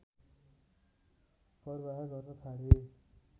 पर्वाह गर्न छाडेँ